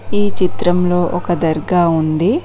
ఈ చిత్రంలో ఒక దర్గా ఉంది.